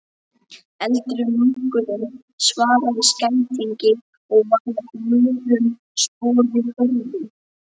Eldri munkurinn svaraði skætingi og var að vörmu spori horfinn.